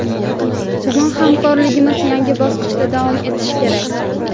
Bugun hamkorligimiz yangi bosqichda davom etishi kerak.